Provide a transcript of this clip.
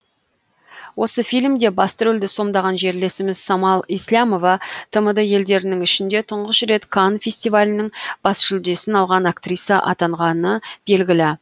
осы фильмде басты рөлді сомдаған жерлесіміз самал еслямова тмд елдерінің ішінде тұңғыш рет канн фестивалінің бас жүлдесін алған актриса атанғаны белгілі